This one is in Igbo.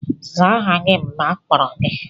Zaa aha gị mgbe akpọrọ gị!